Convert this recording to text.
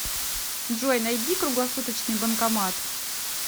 джой найди круглосуточный банкомат